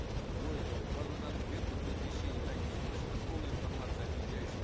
более того в базу данных беркут при пересечении границы вносится полная информация о въезжающем